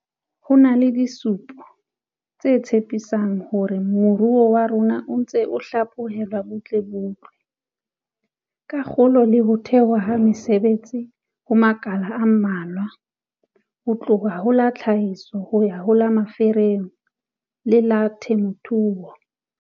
Ho na le disupo tse tshepi sang tsa hore moruo wa rona o ntse o hlaphohelwa butlebutle, ka kgolo le ho thehwa ha mesebetsi ho makala a mmalwa, ho tloha ho la tlhahiso ho ya ho la merafong le la temothuo.